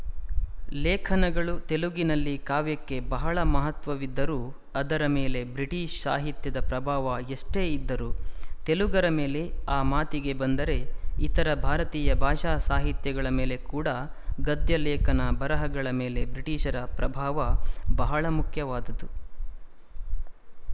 ಲೇಖನಗಳು ತೆಲುಗಿನಲ್ಲಿ ಕಾವ್ಯಕ್ಕೆ ಬಹಳ ಮಹತ್ವವಿದ್ದರೂ ಅದರ ಮೇಲೆ ಬ್ರಿಟಿಶ ಸಾಹಿತ್ಯದ ಪ್ರಭಾವ ಎಷ್ಟೇ ಇದ್ದರೂ ತೆಲುಗರ ಮೇಲೆಆ ಮಾತಿಗೆ ಬಂದರೆ ಇತರೆ ಭಾರತೀಯ ಭಾಷಾ ಸಾಹಿತ್ಯಗಳ ಮೇಲೆ ಕೂಡಾಗದ್ಯ ಲೇಖನ ಬರೆಹಗಳ ಮೇಲೆ ಬ್ರಿಟಿಶರ ಪ್ರಭಾವ ಬಹಳ ಮುಖ್ಯವಾದುದು